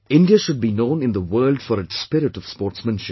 India should be known in the world for its spirit of sportsmanship